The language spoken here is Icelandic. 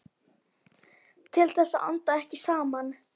Til þess að anda ekki saman.